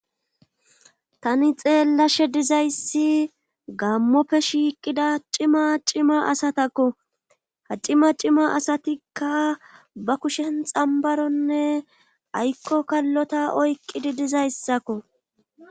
Tani xeellashe dizayssi gammoppe shiiqida cima cima asatakko ha cima cima asatikka ba kushen xambaronne aykko kallota oyqqidi dizayssakko.